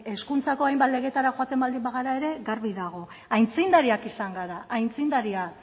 hezkuntzako hainbat legeetara joaten baldin bagara ere garbi dago aitzindariak izan gara aitzindariak